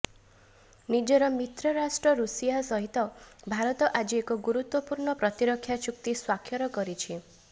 ନିଜର ମିତ୍ର ରାଷ୍ଟ୍ର ଋଷିଆ ସହିତ ଭାରତ ଆଜି ଏକ ଗୁରୁତ୍ୱପୂର୍ଣ୍ଣ ପ୍ରତିରକ୍ଷା ଚୁକ୍ତି ସ୍ୱାକ୍ଷର କରିଛି